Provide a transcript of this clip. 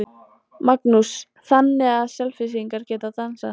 Magnús: Þannig að Selfyssingar geta dansað?